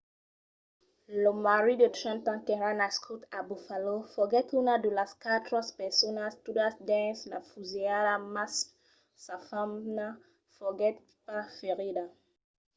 lo marit de 30 ans qu'èra nascut a buffalo foguèt una de las quatre personas tuadas dins la fusilhada mas sa femna foguèt pas ferida